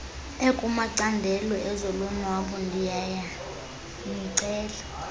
ekumacandelo ezolonwabo ndiyanicela